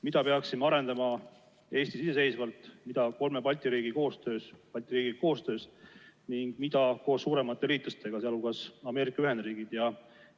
Mida peaksime arendama Eestis iseseisvalt, mida kolme Balti riigi koostöös ning mida koos suuremate liitlastega, sh Ameerika Ühendriikidega?